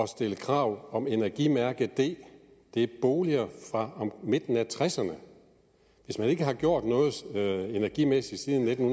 stille krav om energimærke d det er boliger fra midten af tresserne og hvis man ikke har gjort noget energimæssigt siden nitten